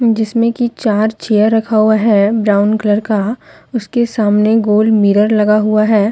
जिसमें की चार चेयर रखा हुआ है ब्राऊन कलर का उसके सामने गोल मिरर लगा हुआ है।